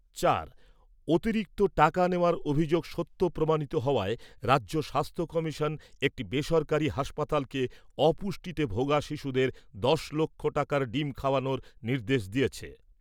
চার, অতিরিক্ত টাকা নেওয়ার অভিযোগ সত্য প্রমাণিত হওয়ায় রাজ্য স্বাস্থ্য কমিশন একটি বেসরকারি হাসপাতালকে অপুষ্টিতে ভোগা শিশুদের দশ লক্ষ টাকার ডিম খাওয়ানোর নির্দেশ দিয়েছে।